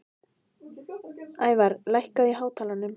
Ævarr, lækkaðu í hátalaranum.